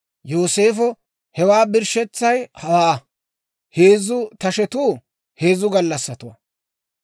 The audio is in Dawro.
Yooseefo, «Hewaa birshshetsay hawaa; heezzu tashetuu heezzu gallassatuwaa.